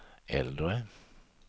äldre